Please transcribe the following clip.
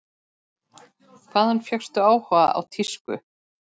Hvaðan fékkstu áhugann á tísku?